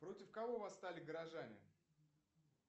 против кого восстали горожане